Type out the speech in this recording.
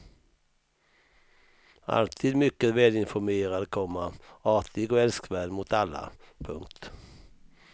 Alltid mycket välinformerad, komma artig och älskvärd mot alla. punkt